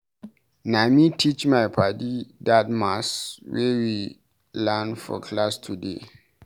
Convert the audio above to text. Na me teach my paddy dat maths wey we learn for class today.